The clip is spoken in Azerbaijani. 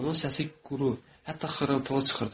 Onun səsi quru, hətta xırıltılı çıxırdı.